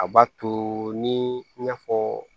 A b'a to ni i n'a fɔɔ